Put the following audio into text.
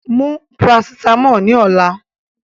Take the paracetamol tomorrow